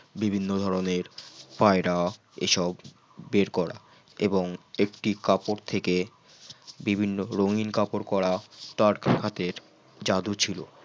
বিভিন্ন ধরনের পায়রা এইসব বের করা এবং একটি কাপড় থেকে বিভিন্ন রঙিন কাপড় করা তার হাতের জাদু ছিল